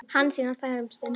Hansína þagði um stund.